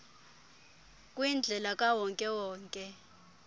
kwindlela kawonke wonke